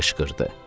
Deyə qışqırdı.